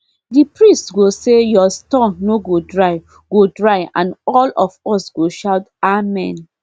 the priest go say your store no go dry go dry and all of us go shout amen